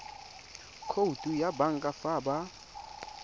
khoutu ya banka fa ba